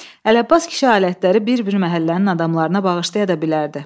Ələbbas kişi alətləri bir-bir məhəllənin adamlarına bağışlaya da bilərdi.